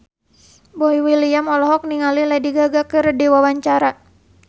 Boy William olohok ningali Lady Gaga keur diwawancara